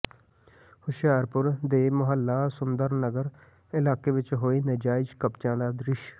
ਹੁਸ਼ਿਆਰਪੁਰ ਦੇ ਮੁਹੱਲਾ ਸੁੰਦਰ ਨਗਰ ਇਲਾਕੇ ਵਿਚ ਹੋਏ ਨਜਾਇਜ਼ ਕਬਜਿਆਂ ਦਾ ਦ੍ਰਿਸ਼